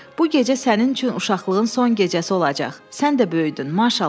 Bu gecə sənin üçün uşaqlığın son gecəsi olacaq, sən də böyüdün, maşallah.